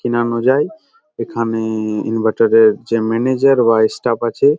অনুযায়ী এখানে ইনভার্টার এর যে ম্যানেজার বা ইস্টাফ আছে।